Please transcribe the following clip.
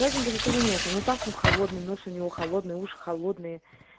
температура нету холодный нос у него холодные уши холодные